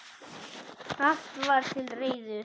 Allt var til reiðu.